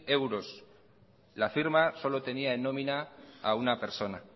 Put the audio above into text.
euros la firma solo tenía en nómina a una persona